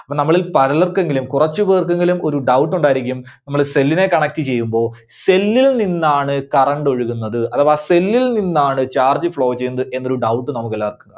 അപ്പോ നമ്മളിൽ പലർക്കെങ്കിലും കുറച്ചുപേർക്കെങ്കിലും ഒരു doubt ഉണ്ടായിരിക്കും. നമ്മള് cell നെ connect ചെയ്യുമ്പോ cell ൽ നിന്നാണ് current ഒഴുകുന്നത് അഥവാ cell ൽ നിന്നാണ് charge flow ചെയ്യുന്നത് എന്നൊരു doubt നമുക്കെല്ലാർക്കും